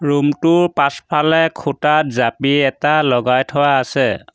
Room টোৰ পাছফালে খুঁটাত জাপি এটা লগাই থোৱা আছে।